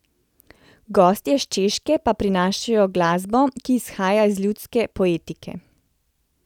Gostje s Češke pa prinašajo glasbo, ki izhaja iz ljudske poetike.